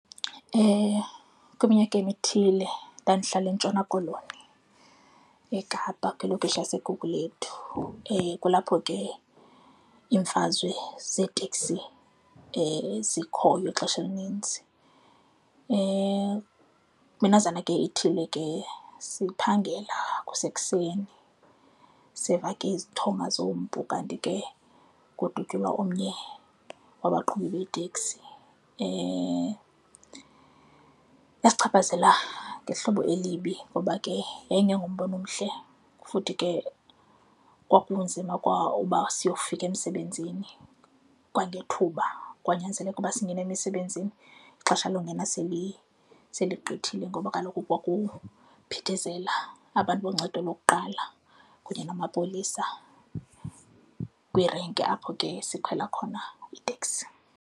Kwiminyaka emithile ndandihlala eNtshona Koloni eKapa, kwilokishi yaseGugulethu, kulapho ke iimfazwe zeeteksi zikhoyo ixesha elininzi. Minazana ithile ke siphangela kusekuseni, seva ke izithonga zompu kanti ke ngokudutyulwa omnye wabaqhubi beeteksi. Yasichaphazela ngehlobo elibi ngoba ke yayingengombona omhle futhi ke kwakunzima kwa uba siyofika emsebenzini kwangethuba, kwanyanzeleka ukuba singene emisebenzini ixesha lokungena seligqithile ngoba kaloku kwakuphithizela aba bantu boncedo lokuqala kunye namapolisa kwirenki apho ke sikhwela khona iteksi.